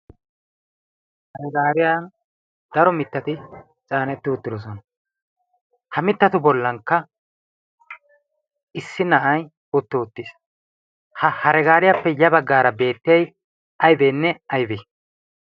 haragaariyan daro mittati caanetti ottidosona ha mittatu bollankka issi na'ay otti uttiis ha haragaariyaappe ya baggaara beettiyay aybeenne aybee